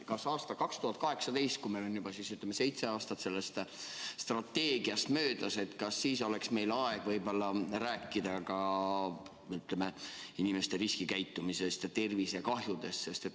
Kas aastal 2018, kui meil on juba seitse aastat selle strateegia möödas, oleks meil aeg võib-olla rääkida ka inimeste riskikäitumisest ja tervisekahjust?